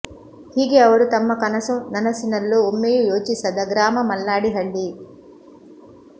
ಹೀಗೆ ಅವರು ತಮ್ಮ ಕನಸು ನನಸಿನಲ್ಲೂ ಒಮ್ಮೆಯು ಯೋಚಿಸದ ಗ್ರಾಮ ಮಲ್ಲಾಡಿಹಳ್ಳಿ